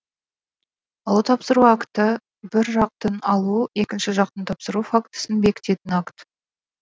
алу тапсыру акті бір жақтың алу екінші жақтың тапсыру фактісін бекітетін акт